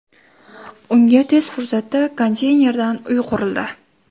Unga tez fursatda konteynerdan uy qurildi .